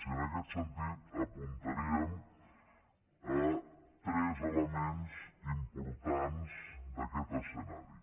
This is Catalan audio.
i en aquest sentit apuntaríem tres elements importants d’aquest escenari